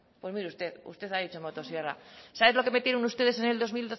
pues mire usted usted ha dicho motosierra sabe lo que metieron ustedes en el dos